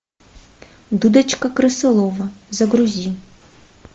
дудочка крысолова загрузи